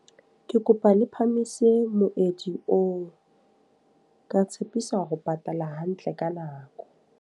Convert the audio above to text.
Ke kopa le phamise moedi oo. Ka tshepisa ho patala hantle ka nako.